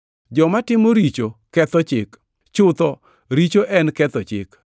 Ji matimo richo ketho chik; chutho, richo en ketho chik.